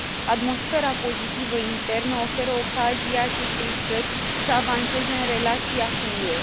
Atmosfera pozitivă internă oferă ocazia acestei țări să avanseze în relația cu UE.